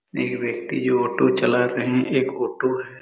एक व्यक्ति जो ऑटो चला रहे है एक ऑटो है।